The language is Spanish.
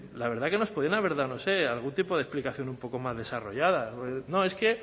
la verdad es que nos podían dado no sé algún tipo de explicación un poco más desarrollada no es que